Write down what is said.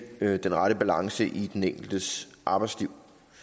den rette balance i den enkeltes arbejdsliv